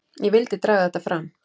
Ég vildi draga þetta fram.